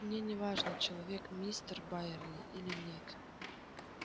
мне не важно человек мистер байерли или нет